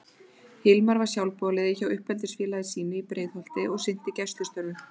Hilmar var sjálfboðaliði hjá uppeldisfélagi sínu í Breiðholti og sinnti gæslustörfum.